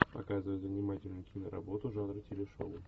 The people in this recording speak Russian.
показывай занимательную киноработу жанра телешоу